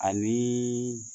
A ni